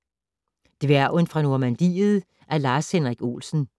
Dværgen fra Normadiet af Lars-Henrik Olsen